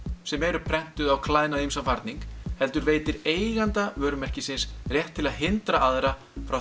sem eru prentuð á klæðnað og ýmsan varning heldur veitir eiganda vörumerkisins rétt til að hindra aðra frá